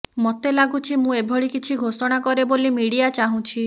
ମୋତେ ଲାଗୁଛି ମୁଁ ଏଭଳି କିଛି ଘୋଷଣା କରେ ବୋଲି ମିଡିଆ ଚାହୁଁଛି